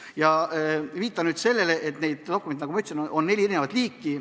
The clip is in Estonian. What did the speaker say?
Ma viitan nüüd sellele, et neid dokumente, nagu ma ütlesin, on neli liiki.